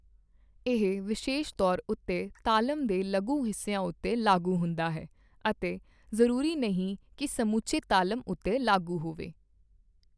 ਇਹ ਵਿਸ਼ੇਸ਼ ਤੌਰ ਉੱਤੇ ਤਾਲਮ ਦੇ ਲਘੂ ਹਿੱਸਿਆਂ ਉੱਤੇ ਲਾਗੂ ਹੁੰਦਾ ਹੈ ਅਤੇ ਜ਼ਰੂਰੀ ਨਹੀਂ ਕੀ ਸਮੁੱਚੇ ਤਾਲਮ ਉੱਤੇ ਲਾਗੂ ਹੋਵੇ।